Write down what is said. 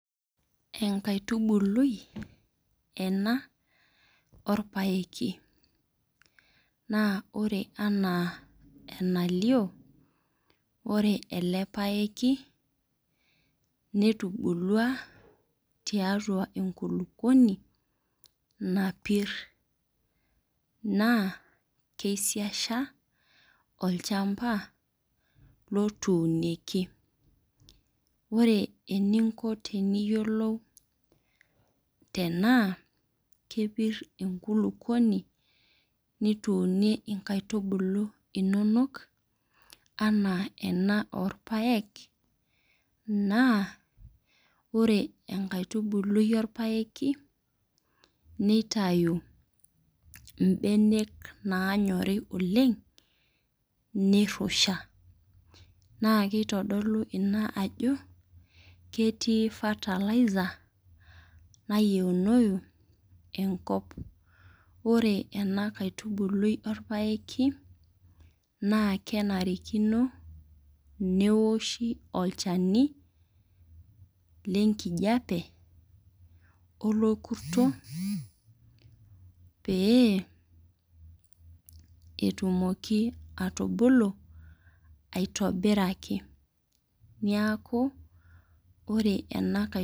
Enkaitubului ena orpaeki na ore ena enalio ore ele paeki netubulua tiatua enkulukuoni napir nakeisisha olchamba otuunieki ore eninko teniyiolou tenaa kepir enkulukuoni nituunie inkaitubulu ino ana ena oropaek na ore enkaitubulu orpaeki nitau inbenek nanyori oleng' nirusha. naa kitadolu ina ajo ketii fertiliser nayiounou enkop ore enakaitubului orpaeki na kenarikino neoshi olchani lenkijape olorkurto pee etumoki atubulu aitbiraki neaku ore ena kaitubulu.